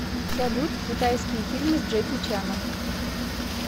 салют китайский фильмы с джеки чаном